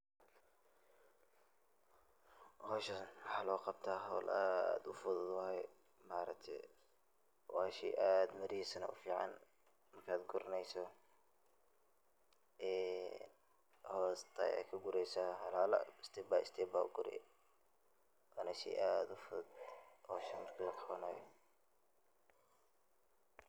Pause. Hawshaan maaxa looqabta hawl aad uu fuduud waaye ma araagtee waa sheey aad mirihisana u ficaan markaad guruneyso eee hoosta ayad kagureysa halahala stepbystep ba uguri . waana sheey aad uu fuduud hawshaa markii laqabanaayo.